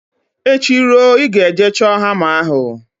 Echi ruo, ị ga-eje chọọ hama ahụ!